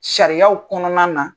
Sariyaw kɔnɔna na